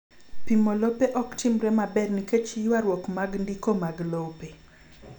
Pimo lope ok timre maber nikech ywarruok mag ndiko mag lope.